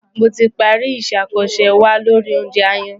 Mo ti parí isẹ́ àkànṣe wa lori oúnjẹ aáyán.